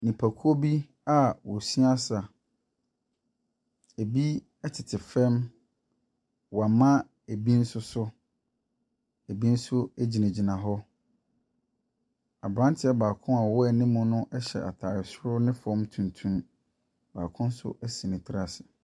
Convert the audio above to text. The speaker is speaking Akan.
Nnipakuo bi a wɔsoa nsa. Ɛbi tete fam, wɔama bi nso so, bi nso gyinagyina hɔ. Aberanteɛ baako a ɔwɔ anim no ɛhyɛ ataare soro ne fem tuntum. Baako so asi ne ti ase.